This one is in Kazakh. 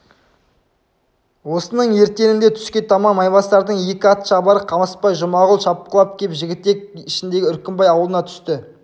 осының ертеңінде түске таман майбасардың екі ат шабары қамысбай жұмағұл шапқылап кеп жігітек ішіндегі үркімбай аулына түсті